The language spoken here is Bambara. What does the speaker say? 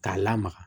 K'a lamaga